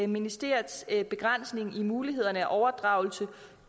ministeriets begrænsning i mulighederne for overdragelse